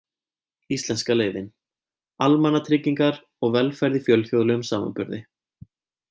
Íslenska leiðin: Almannatryggingar og velferð í fjölþjóðlegum samanburði.